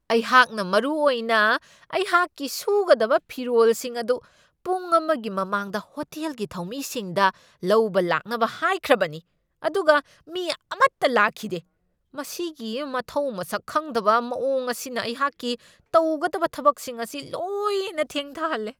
ꯑꯩꯍꯥꯛꯅ ꯃꯔꯨꯑꯣꯏꯅ ꯑꯩꯍꯥꯛꯀꯤ ꯁꯨꯒꯗꯕ ꯐꯤꯔꯣꯜꯁꯤꯡ ꯑꯗꯨ ꯄꯨꯡ ꯑꯃꯒꯤ ꯃꯃꯥꯡꯗ ꯍꯣꯇꯦꯜꯒꯤ ꯊꯧꯃꯤꯁꯤꯡꯗ ꯂꯧꯕ ꯂꯥꯛꯅꯕ ꯍꯥꯏꯈ꯭ꯔꯕꯅꯤ, ꯑꯗꯨꯒ ꯃꯤ ꯑꯃꯠꯇ ꯂꯥꯛꯈꯤꯗꯦ ꯫ ꯃꯁꯤꯒꯤ ꯃꯊꯧ ꯃꯁꯛ ꯈꯪꯗꯕ ꯃꯋꯣꯡ ꯑꯁꯤꯅ ꯑꯩꯍꯥꯛꯀꯤ ꯇꯧꯒꯗꯕ ꯊꯕꯛꯁꯤꯡ ꯑꯁꯤ ꯂꯣꯏꯅ ꯊꯦꯡꯊꯍꯜꯂꯦ !